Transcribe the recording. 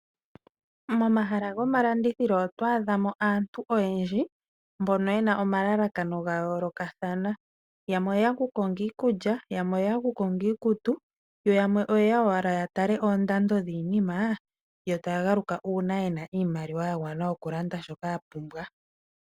Momahala gomalandithilo otwaadha mo aantu oyendji mbono yena omalalakano gayoolokathana. Yamwe oyeya okutala iikulya, yamwe oyeya okutala iikutu, yamwe oyeya okutala oondando dhiinima yo taya galuka uuna yenaiimaliwa yagwana okulanda shoka yapumbwa.